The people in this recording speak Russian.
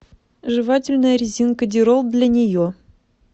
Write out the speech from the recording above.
жевательная резинка дирол для нее